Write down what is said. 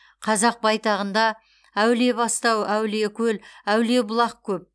қазақ байтағында әулиебастау әулиекөл әулиебұлақ көп